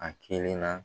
A kelen na